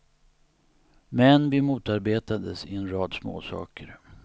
Men vi motarbetades i en rad småsaker.